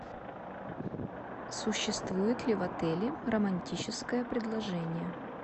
существует ли в отеле романтическое предложение